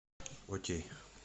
окей